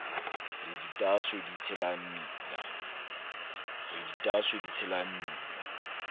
re ditaaso di tshela mmila